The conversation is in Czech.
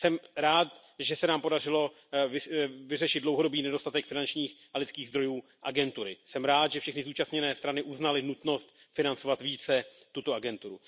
Jsem rád, že se nám podařilo vyřešit dlouhodobý nedostatek finančních i lidských zdrojů agentury. Jsem rád, že všechny zúčastněné strany uznaly nutnost financovat více tuto agenturu.